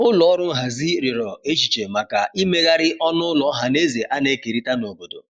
ụlọ ọrụ nhazi riọrọ echiche maka imeghari ọnụ ụlọ ohanaeze ana ekerita n'obodo